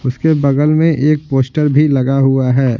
उसके बगल में एक पोस्टर भी लगा हुआ है।